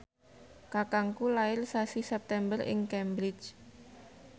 kakangku lair sasi September ing Cambridge